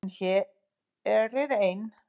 En hér er ein.